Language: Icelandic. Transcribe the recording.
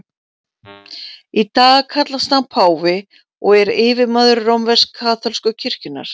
Í dag kallast hann páfi og er yfirmaður rómversk-kaþólsku kirkjunnar.